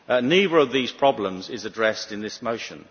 Neither of these problems is addressed in this motion.